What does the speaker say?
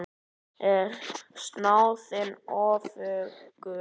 Er snáðinn öfugur?